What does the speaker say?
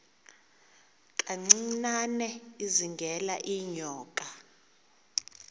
kancinane izingela iinyoka